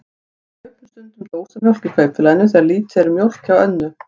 Við kaupum stundum dósamjólk í Kaupfélaginu þegar lítið er um mjólk hjá Önnu.